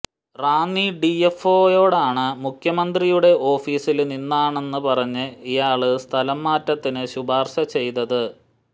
റാന്നി ഡിഎഫ്ഒയോടാണ് മുഖ്യമന്ത്രിയുടെ ഓഫീസില് നിന്നാണെന്ന് പറഞ്ഞ് ഇയാള് സ്ഥലം മാറ്റത്തിന് ശുപാര്ശ ചെയ്തത്